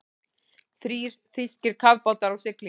Þrír þýskir kafbátar á siglingu.